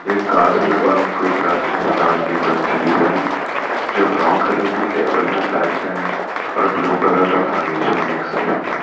एक कांच में बंद कोई प्राचीन काल की कोई चीज है जो ब्राउन कलर की टेबल में पैक्ड है और ब्लू कलर का फर्नीचर मिक्स है इसमें --